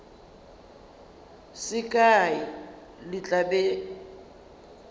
se kae le tla be